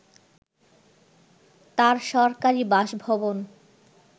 তাঁর সরকারি বাসভবন